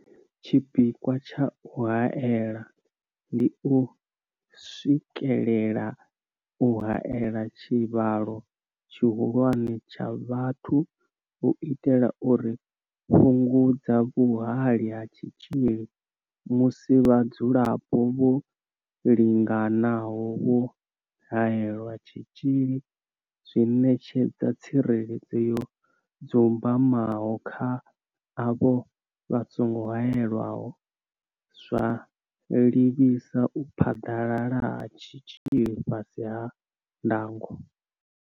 Tshipikwa tsha u haela ndi u swikelela u haela tshivhalo tshihulwane tsha vhathu u itela uri fhungudza vhuhali ha tshitzhili, musi vhadzulapo vho linganaho vho haelelwa tshitzhili zwi ṋetshedza tsireledzo yo dzumbamaho kha avho vha songo haelwaho, zwa livhisa u phaḓalala ha tshitzhili fhasi ha ndango.